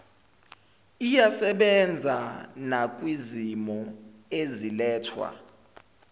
iyasebenza nakwizimo ezilethwa